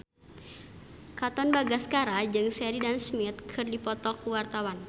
Katon Bagaskara jeung Sheridan Smith keur dipoto ku wartawan